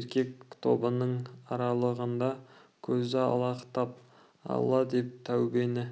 еркек тобының аралығында көзі алақтап алла мен тәубені